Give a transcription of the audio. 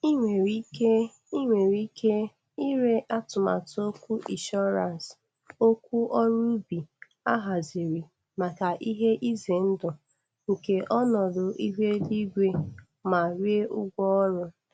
I nwere ike I nwere ike ire atụmatụ okwu insurance okwu ọrụ ubi a haziri maka ihe ize.ndụ nke ọnọdụ ihu eluigwe ma rie ụgwọ ọrụ.